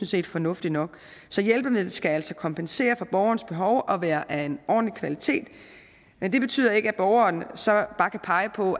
set fornuftigt nok så hjælpemidlet skal altså kompensere for borgerens behov og være af en ordentlig kvalitet men det betyder ikke at borgeren så bare kan pege på